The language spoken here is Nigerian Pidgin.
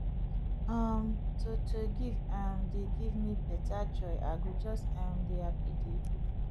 um to to give um dey give me beta joy i go just um dey happy dey go